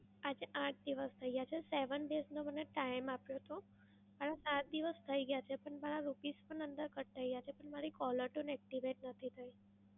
આજે આઠ દિવસ થઈ ગયા છે. seven days નો મને time આપ્યો હતો. અને આઠ દિવસ થઈ ગયા છે. પણ રૂપીસ પણ અંદર cut થઈ ગયા છે. પણ મારી caller tune activate નથી થઈ.